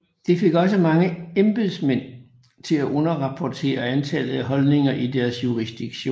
Det fik også mange embedsmænd til at underrapportere antallet af husholdninger i deres jurisdiktion